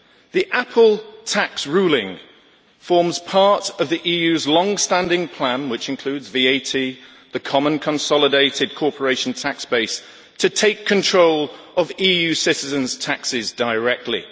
The Apple tax ruling forms part of the EU's long standing plan which includes VAT and the common consolidated corporation tax base to take control of EU citizens' taxes directly.